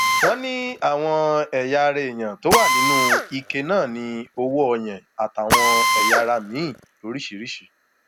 wọn ní àwọn ẹyà ara èèyàn tó wà nínú ike náà ní owó ọyàn àtàwọn ẹyà ara miín lóríṣìíríṣìí